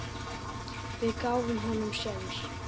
Við gáfum honum sénsinn.